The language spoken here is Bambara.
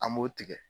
An b'o tigɛ